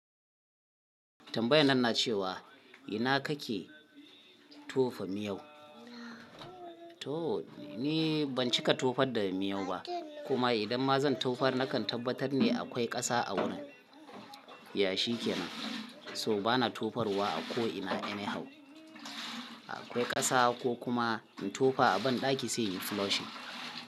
Tambayan nan na ce wa, ina kake tofa miyau? To ni ban cika tofar da miyau ba kuma idan ma zan tofar nakan tabbatar ne akwai ƙasa a wurin. Yashi kenan, so bana tofar wa a ko ina any hau. Akwai ƙasa ko kuma in tofa a banɗaki sai in floshing.